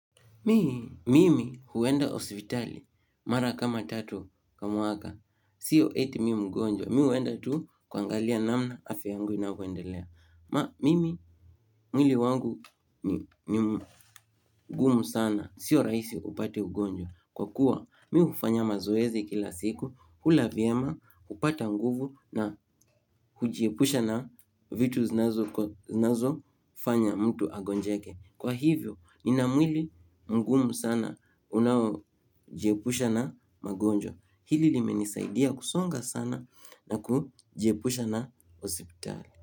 Mimi huenda hospitali, mara kama tatu kwa mwaka, sio eti mimi mgonjwa, mimi huenda tu kuangalia namna afya yangu inavyoendelea. Mimi mwili wangu ni mgumu sana, sio rahisi upate ugonjwa. Kwa kuwa, mimi hufanya mazoezi kila siku, hula vyema, hupata nguvu na hujiepusha na vitu zinazofanya mtu agonjeke. Kwa hivyo, nina mwili mgumu sana, unaojiepusha na magonjwa. Hili limenisaidia kusonga sana na kujiepusha na hospitali.